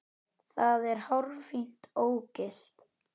Það var hárfínt ógilt.